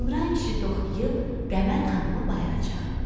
İmran kişi toxtuyub Qəmər xanımı bayıra çağırdı.